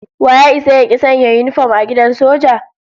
Wa ya isa ya ki sanya yinifom a gidan soja?